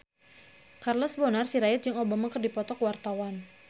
Charles Bonar Sirait jeung Obama keur dipoto ku wartawan